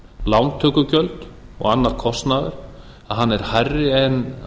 lántökugjöld og annar kostnaður hann er hærri en